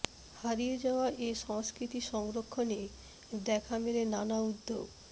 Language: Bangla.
হারিয়ে যাওয়া এ সংস্কৃতি সংরক্ষণে দেখা মেলে নানা উদ্যোগ